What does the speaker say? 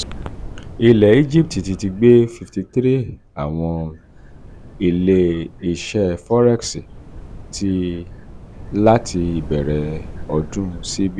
ile egipiti ti gbe 53 awọn ile-iṣẹ um forex ti lati ibẹrẹ um ọdun: cbe